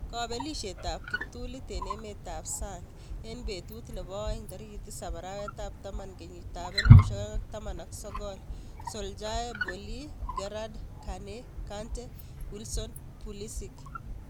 Kabelisiet ab kiptulit eng' emet ab sang eng' betut nebo aeng 07.10.2019: Solskjaer, Boly, Gerrard, Kane, Kante, Wilson, Pulisic